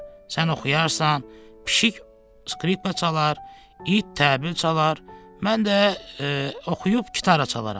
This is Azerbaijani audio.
Sən oxuyarsan, pişik skripka çalar, it təbil çalar, mən də oxuyub gitara çalaram.